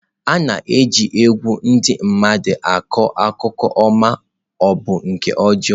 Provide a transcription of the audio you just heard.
A na-eji egwu ndị mmadụ akọ akụkọ ọma ma ọ bụ nke ọjọọ.